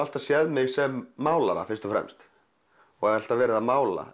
alltaf séð mig sem málara fyrst og fremst og alltaf verið að mála